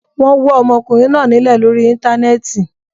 Wọ́n wọ́ ọmọkùnrin náa nílẹ̀ lórí Íńtánẹ́ẹ̀tì.